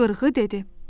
Qırğı dedi.